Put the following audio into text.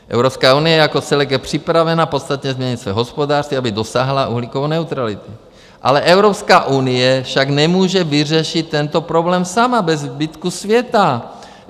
Evropská unie jako celek je připravena podstatně změnit své hospodářství, aby dosáhla uhlíkové neutrality, ale Evropská unie však nemůže vyřešit tento problém sama, bez zbytku světa.